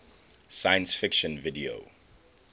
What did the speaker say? science fiction video